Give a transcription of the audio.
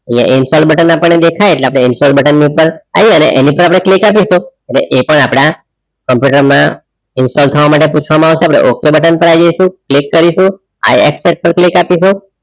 install button આપણને દેખાય એટલે ઇન્સ્ટોલ બટન પરાઈ આઈ અને એની પર આપણે click આપીશું એ પણ આપણા કોમ્પ્યુટરમાં ઇન્સ્ટોલ થવા માટે પૂછવામાં આવશે આપણે okay બટન પર આવી જઈશું click કરીશું I accept click આપીશું